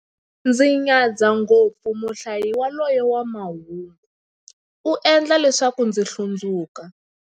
Ndzi nyadza ngopfu muhlayi yaloye wa mahungu, u endla leswaku ndzi hlundzuka.